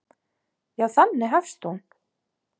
Já, þannig hefst hún.